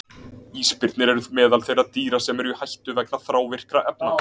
Ísbirnir eru meðal þeirra dýra sem eru í hættu vegna þrávirkra efna.